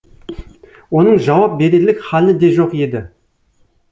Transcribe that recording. оның жауап берерлік халі де жоқ еді